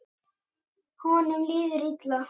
Honum líður illa.